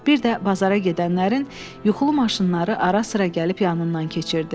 Bir də bazara gedənlərin yuxulu maşınları ara-sıra gəlib yanından keçirdi.